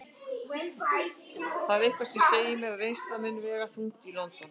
Það er eitthvað sem segir mér að reynslan muni vega þungt í London.